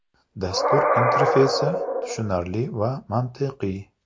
Dastur interfeysi tushunarli va mantiqiy.